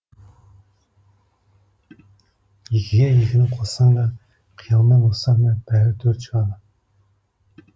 екіге екіні қоссаң да қиялмен озсаң да бәрі төрт шығады